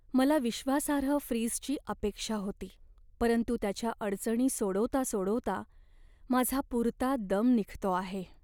मला विश्वासार्ह फ्रीजची अपेक्षा होती, परंतु त्याच्या अडचणी सोडवता सोडवता माझा पुरता दम निघतो आहे.